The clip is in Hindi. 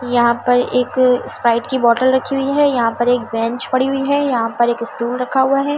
यहाँ पर एक स्प्राइट की बोतल राखी हुई है यहाँ पर एक बेंच पड़ी हुई है यहाँ पर एक स्टूल रखा हुआ है ।